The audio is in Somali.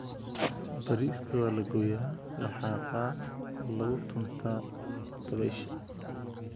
"Bariiska waa la gooyaa, la xaaqaa oo lagu tuntaa dabaysha."